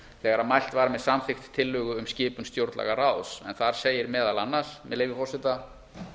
þegar mælt var með samþykkt tillögu um skipun stjórnlagaráðs en þar segir meðal annars með leyfi forseta